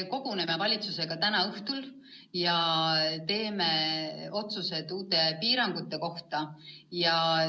Me koguneme valitsusega täna õhtul ja teeme otsused uute piirangute kohta.